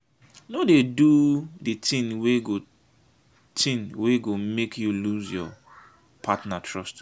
no dey do di tin wey go tin wey go make you loose your partner trust.